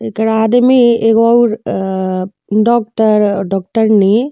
एकर आदमी एगो अउर अ डॉक्टर डॉक्टरनी --